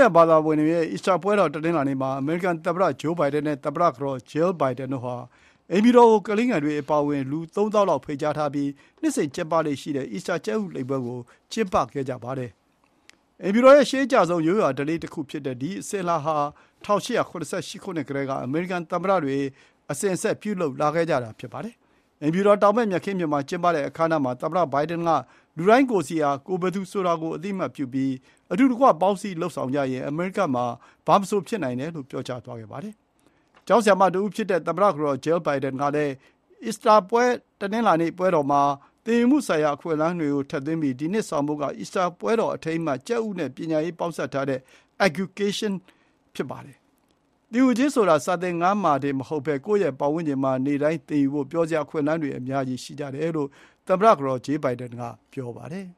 ယာန်ဘာသာဝင်တွေရဲ့ အီစတာပွဲတော်ကို တနင်္လာနေ့မှာ အမေရိကန်သမ္မတဂျိုးဘိုင်ဒန်နဲ့ သမ္မတကတော် ဂျေးလ်ဘိုင်ဒန်တို့ဟာ အိမ်ဖြူတော်ကိုကလေးငယ်တွေအပါအဝင် လူ ၃၀,၀၀၀ လောက် ဖိတ်ကြားပြီး နှစ်စဉ်ကျင်းပလေ့ရှိတဲ့ အီစတာကြက်ဥကောက်ပွဲကို ကျင်းပခဲ့ကြပါတယ်။ အိမ်ဖြူတော်ရဲ့ရှေးအကျဆုံး ရိုးရာဓလေ့တခုဖြစ်တဲ့ ဒီ အစဉ်အလာဟာ ၁၈၇၈ ခုနှစ်ကတည်းက အမေရိကန်သမ္မတတွေ အစဉ်အဆက်ပြုလုပ်ခဲ့ကြတာပါ။ အိမ်ဖြူတော်တောင်ဘက် မြက်ခင်းပြင်မှာ ကျင်းပတဲ့အခမ်းအနားမှာ သမ္မတဘိုင်ဒန်က လူတိုင်းကိုယ်စီဟာ ကိုယ်ဘယ်သူဆိုတာကိုအသိအမှတ်ပြုပြီး အတူတကွ ပေါင်းစည်း လုပ်ဆောင်ကြရင် အမေရိကမှာ ဘာမဆိုဖြစ်နိုင်တယ်လို့ ပြောသွားပါတယ်။ ကျောင်းဆရာမတဦးဖြစ်တဲ့ သမ္မတကတော် ဂျေးလ် ဘိုင်ဒန်ကလည်း အီစတာတနင်္လာနေ့ပွဲမှာ သင်ယူမှုဆိုင်ရာအခွင့်အလမ်းတွေကိုထည့်သွင်းထားပြီး ဒီနှစ်ဆောင်ပုဒ်က အီစတာပွဲတော်အထိမ်းအမှတ် ကြက်ဥနဲ့ပညာရေးပေါင်းစပ်ထားတဲ့ “EGGucation” (အက်ခ်-ကျူကေးရှင်း) ဖြစ်ပါတယ်။ “သင်ယူခြင်းဆိုတာ စာသင်ခန်းထဲမှာတင်မဟုတ်ဘဲ ကိုယ့်ရဲ့ပတ်ဝန်းကျင်မှာ နေ့တိုင်းသင်ယူဖို့ ပျော်စရာအခွင့်အလမ်းတွေ အများကြီးရှိတယ်” လို့ သမ္မတကတော် ဂျေးလ် ဘိုင်ဒန်က ပြောပါတယ်